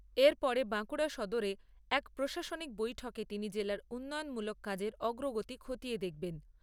এরপরে বাঁকুড়া সদরে এক প্রশাসনিক বৈঠকে তিনি জেলার উন্নয়নমূলক কাজের অগ্রগতি খতিয়ে দেখবেন।